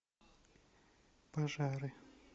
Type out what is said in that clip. пожары